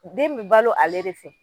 Den bi balo ale de fɛ.